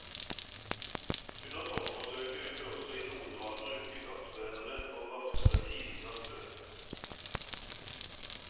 Under toppforsøket vil vi også i noen grad bruke gassbrennere for raskere tining av snø.